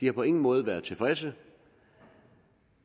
har på ingen måde været tilfredse